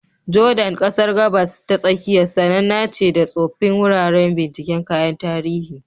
Jordan, ƙasar Gabas ta Tsakiya, sananna ce da tsoffin wuraren binciken kayan tarihi.